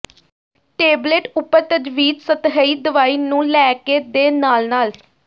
tablet ਉਪਰ ਤਜਵੀਜ਼ ਸਤਹੀ ਦਵਾਈ ਨੂੰ ਲੈ ਕੇ ਦੇ ਨਾਲ ਨਾਲ